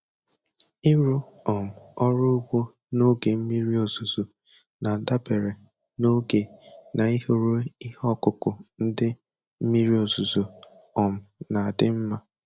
Ịrụ um ọrụ ugbo n'oge mmiri ọzụzụ na-adabere n'oge na ịhọrọ ihe ọkụkụ ndị mmiri ozuzo um na adị nma.